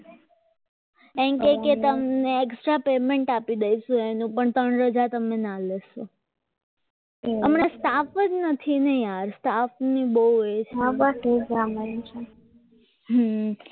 એમ કે કે તમને extra payment આપી દઈશું એને પણ ત્રણ રજા તમે ના લખો હમણાં staff જ નથી ને યાર staff ની બહુ એ છે આ બસ એ જ રામાયણ છે હમ